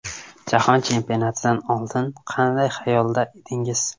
Jahon chempionatidan oldin qanday xayolda edingiz?